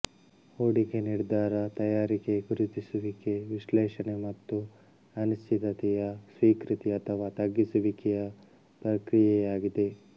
ಹೂಡಿಕೆ ನಿರ್ಧಾರ ತಯಾರಿಕೆ ಗುರುತಿಸುವಿಕೆ ವಿಶ್ಲೇಷಣೆ ಮತ್ತು ಅನಿಶ್ಚಿತತೆಯ ಸ್ವೀಕೃತಿ ಅಥವಾ ತಗ್ಗಿಸುವಿಕೆಯ ಪ್ರಕ್ರಿಯೆಯಾಗಿದೆ